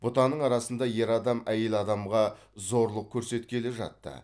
бұтаның арасында ер адам әйел адамға зорлық көрсеткелі жатты